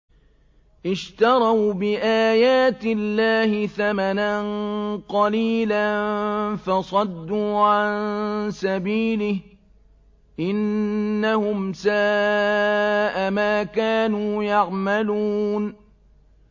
اشْتَرَوْا بِآيَاتِ اللَّهِ ثَمَنًا قَلِيلًا فَصَدُّوا عَن سَبِيلِهِ ۚ إِنَّهُمْ سَاءَ مَا كَانُوا يَعْمَلُونَ